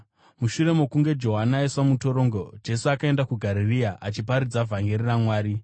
Mushure mokunge Johani aiswa mutorongo, Jesu akaenda kuGarirea, achiparidza vhangeri raMwari.